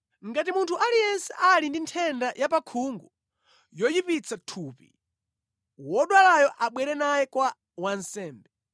“Ngati munthu aliyense ali ndi nthenda ya pakhungu yoyipitsa thupi, wodwalayo abwere naye kwa wansembe.